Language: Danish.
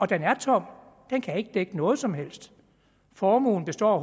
den er tom den kan ikke dække noget som helst formuen består